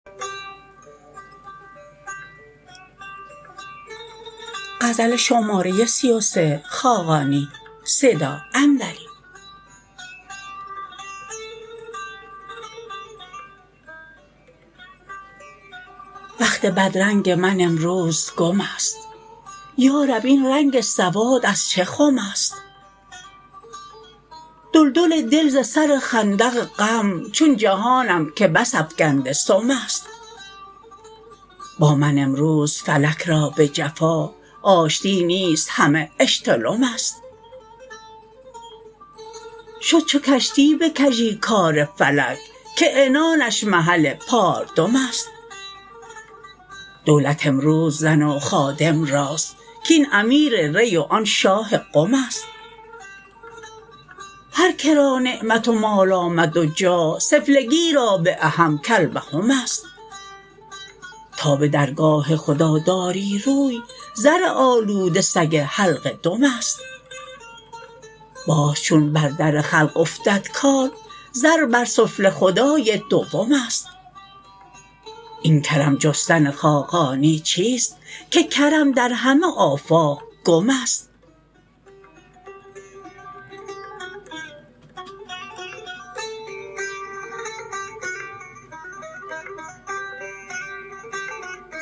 بخت بدرنگ من امروز گم است یارب این رنگ سواد از چه خم است دلدل دل ز سر خندق غم چون جهانم که بس افکنده سم است با من امروز فلک را به جفا آشتی نیست همه اشتلم است شد چو کشتی به کژی کار فلک که عنانش محل پاردم است دولت امروز زن و خادم راست کاین امیر ری و آن شاه قم است هر که را نعمت و مال آمد و جاه سفلگی را بعهم کلبهم است تا به درگاه خدا داری روی زر آلوده سگ حلقه دم است باز چون بر در خلق افتد کار زر بر سفله خدای دوم است این کرم جستن خاقانی چیست که کرم در همه آفاق گم است